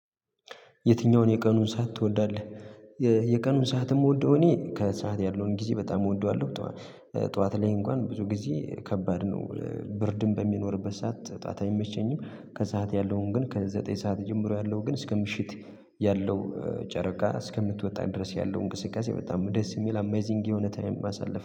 የትኛውን የቀኑን ሰዓት ትወዳለህ? የቀኑን ሰዓትም እምወደው እኔ ከሰአት ያለውን ጊዜ በጣም እወደዋለሁ። ጠዋት ላይ እንኳን ብዙ ጊዜ ከባድ ነው። ብርድም በሚኖርበት ሰዓት ጠዋታ የሚመቸኝም ከሰአት ያለውን ግን ከዘጠኝ ሰዓት ጀምሮ ያለው ግን እስከ ምሽት ያለው ጨረቃ እስከምትወጣ ድረስ ያለው እንቅስቃሴ በጣም ደስ የሚል አሜዚንግ የሆነ ታይም አሳለፈ